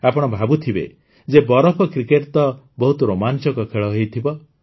ଆପଣ ଭାବୁଥିବେ ଯେ ବରଫ କ୍ରିକେଟ୍ ତ ବହୁତ ରୋମାଂଚକ ଖେଳ ହୋଇଥିବ